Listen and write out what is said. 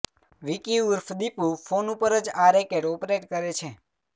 વિકી ઉર્ફ દીપુ ફોન ઉપર જ આ રેકેટ ઓપરેટ કરે છે